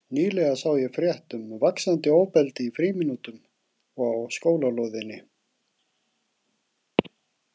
Nýlega sá ég frétt um „vaxandi ofbeldi“ í frímínútum og á skólalóðinni.